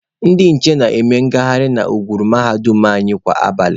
Ndị nche na-eme ngaharị na ngwuru mahadum anyị kwa abalị.